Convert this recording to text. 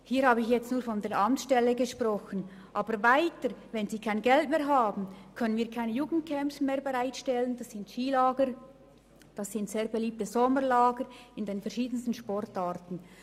Hier habe ich nur von der Amtsstelle gesprochen, aber wenn sie kein Geld mehr haben, können wir auch keine Jugendcamps mehr bereitstellen, wie die Skilager und die sehr beliebten Sommerlager in den verschiedensten Sportarten.